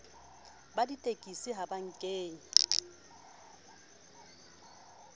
ba ditekesi ha ba kenye